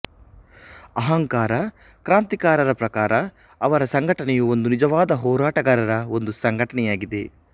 ಅಹಂಕಾರ ಕ್ರಾಂತಿಕಾರರ ಪ್ರಕಾರ ಅವರ ಸಂಘಟನೆಯು ಒಂದು ನಿಜವಾದ ಹೋರಾಟಗಾರರ ಒಂದು ಸಂಘಟನೆಯಾಗಿದೆ